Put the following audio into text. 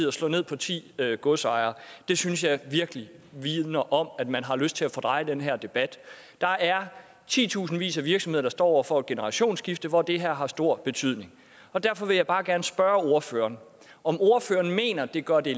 at slå ned på ti godsejere det synes jeg virkelig vidner om at man har lyst til at fordreje den her debat der er titusindvis af virksomheder der står over for et generationsskifte hvor det her har stor betydning og derfor vil jeg bare gerne spørge ordføreren om ordføreren mener det gør det